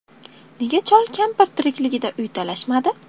Nega chol-kampir tirikligida uy talashmadi?